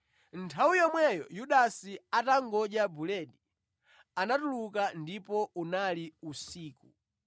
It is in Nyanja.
Nthawi yomweyo Yudasi atangodya buledi, anatuluka, ndipo unali usiku.